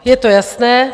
Je to jasné.